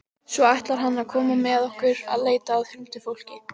Svo ætlar hann að koma með okkur að leita að huldufólki.